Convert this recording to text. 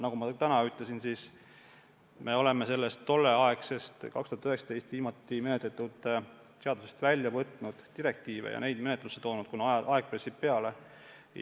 Nagu ma täna ütlesin, me oleme sellest viimati aastal 2019 menetletud seadusest välja võtnud direktiive ja neid menetlusse toonud, kuna aeg pressib peale.